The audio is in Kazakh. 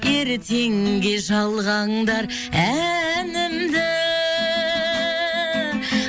ертеңге жалғаңдар әнімді